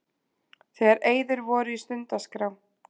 Þegar eyður voru í stundaskrá